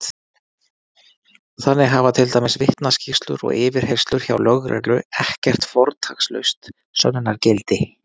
Þannig hafa til dæmis vitnaskýrslur og yfirheyrslur hjá lögreglu ekkert fortakslaust sönnunargildi!